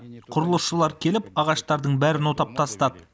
құрылысшылар келіп ағаштардың бәрін отап тастады